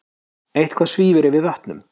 Eitthvað svífur yfir vötnum